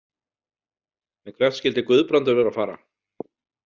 En hvert skyldi Guðbrandur vera að fara?